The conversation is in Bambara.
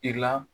I la